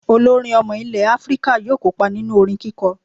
Olórin ọmọ ilẹ̀ Áfíríkà yóò kópa nínú orin kíkọ